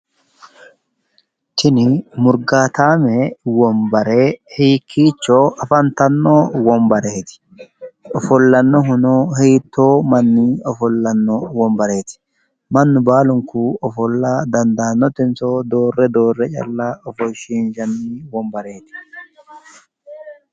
Tini murgaataame wonbare hiikkiicho afantanno wonbareeti? Ofollannohuno hiittoo manni ofollanno wonbareeti? Mannu baalunku ofolla dandaannotenso doorre doorre calla ofoshshiinshanni wonbareeti?